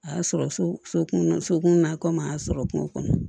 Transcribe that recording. A y'a sɔrɔ so kun sokun na komi a y'a sɔrɔ kungo kɔnɔ